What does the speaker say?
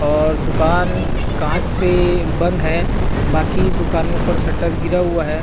और दुकान कांच से बंद है बाकी बाकी दुकानों पर शटर गिरा हुआ है।